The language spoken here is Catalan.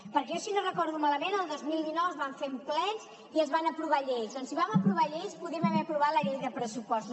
perquè jo si no recordo malament el dos mil dinou es van fer plens i es van aprovar lleis doncs si vam aprovar lleis podíem haver aprovat la llei de pressupostos